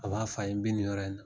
A b'a fɔ a ye n bɛ nin yɔrɔ in na